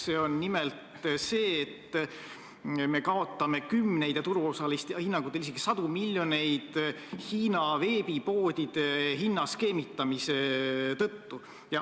See on nimelt see, et me kaotame kümneid ja turuosaliste hinnangutel isegi sadu miljoneid Hiina veebipoodide hinnaskeemitamise tõttu.